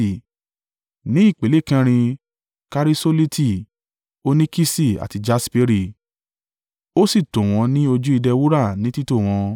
ní ipele kẹrin, karisoliti, óníkìsì, àti jasperi. Ó sì tò wọ́n ní ojú ìdè wúrà ní títò wọn.